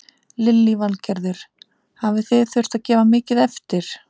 Lillý Valgerður: Hafi þið þurft að gefa mikið eftir?